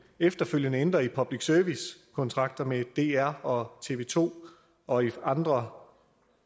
efterfølgende skal ændre i public service kontrakter med dr og tv to og i andre